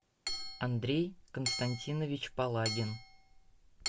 андрей константинович палагин